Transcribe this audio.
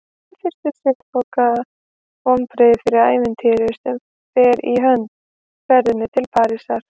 En fyrst um sinn þoka vonbrigðin fyrir ævintýrinu sem fer í hönd: ferðinni til Parísar.